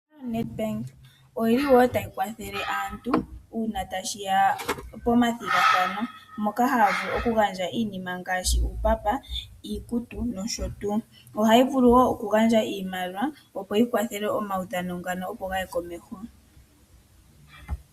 Ombaanga yoNedbank oyi li wo tayi kwathele aantu uuna tashi ya pomathigathano , moka haya vulu okugandja iinima ngaashi uumbamba , iikutu noshotuu. Ohayi vulu wo okugandja iimaliwa opo yikwathele omaudhano ngano opo gaye komeho.